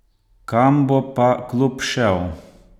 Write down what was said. Kam bo pa klub šel?